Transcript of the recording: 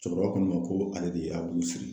Cɛkɔrɔba ko ne ma ko ale de y'a bolo siri.